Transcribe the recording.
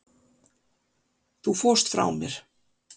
Þú fórst frá mér.